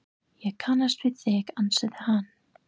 Ég kannast við þig, ansaði hann.